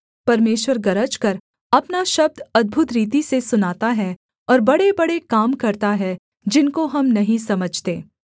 परमेश्वर गरजकर अपना शब्द अद्भुत रीति से सुनाता है और बड़ेबड़े काम करता है जिनको हम नहीं समझते